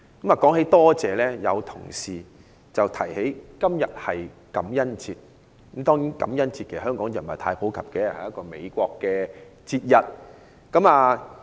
談到感謝，有同事提起今天是感恩節，感恩節在香港不是太普及，它是一個美國節日。